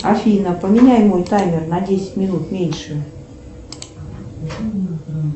афина поменяй мой таймер на десять минут меньше